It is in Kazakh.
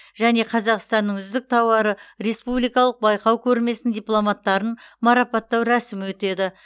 және қазақстанның үздік тауары республикалық байқау көрмесінің дипломанттарын марапаттау рәсімі өтеді